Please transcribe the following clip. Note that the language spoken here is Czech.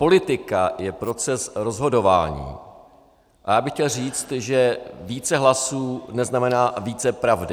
Politika je proces rozhodování a já bych chtěl říct, že více hlasů neznamená více pravdy.